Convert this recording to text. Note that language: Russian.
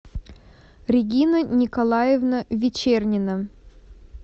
регина николаевна вечернина